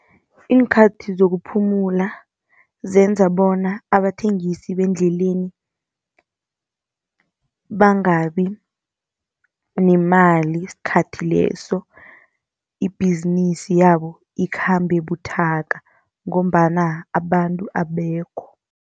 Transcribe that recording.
Iinkhathi zokuphumula zenza bona abathengisi bendleleni bangabi nemali sikhathi leso, ibhizinisi yabo ikhambe buthaka ngombana abantu abekho.